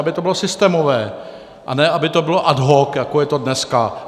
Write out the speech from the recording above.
Aby to bylo systémové, a ne aby to bylo ad hoc, jako je to dneska.